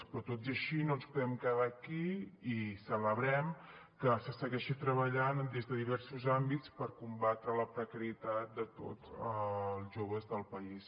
però tot i així no ens podem quedar aquí i celebrem que se segueixi treballant des de diversos àmbits per combatre la precarietat de tots els joves del país